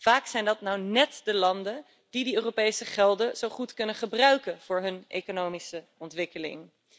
Vaak zijn dat net de landen die de Europese gelden zo goed kunnen gebruiken voor hun economische ontwikkeling.